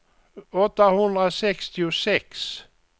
åttahundrasextiosex